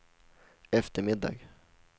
eftermiddag